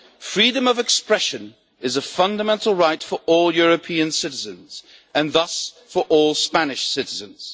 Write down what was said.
Freedom of expression is a fundamental right for all European citizens, and thus for all Spanish citizens.